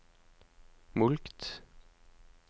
mulkt